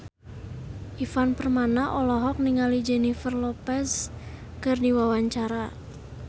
Ivan Permana olohok ningali Jennifer Lopez keur diwawancara